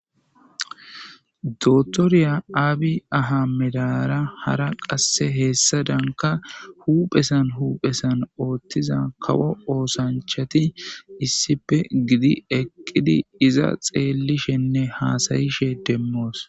Dr Abi ahimedara qassi hezzu harra astarara uphessan huphessan othida ossanchati issippe gidi eqqidi izza xelishe deyssa demos.